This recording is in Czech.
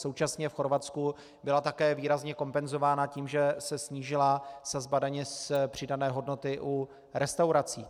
Současně v Chorvatsku byla také výrazně kompenzována tím, že se snížila sazba daně z přidané hodnoty u restaurací.